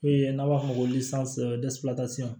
E n'a b'a f'a ma ko